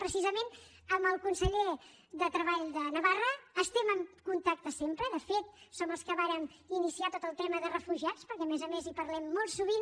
precisament amb el conseller de treball de navarra estem en contacte sempre de fet som els que vàrem iniciar tot el tema de refugiats perquè a més a més hi parlem molt sovint